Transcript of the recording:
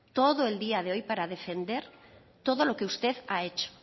todo el día de hoy para defender todo lo que usted ha hecho